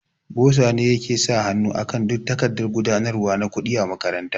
Boza ne yake sa hanu akan duka takardan gudanarwa na kuɗi a makaranta